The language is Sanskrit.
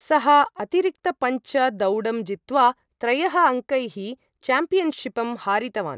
सः अतिरिक्तपञ्च दौडं जित्वा त्रयः अंकैः चॅम्पियनशिपं हारितवान् ।